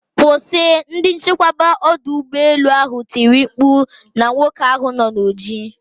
Kwụsị!,ndi nchekwa odu ugbo elu ahụ tiri mkpu na nwoke ahụ na oji.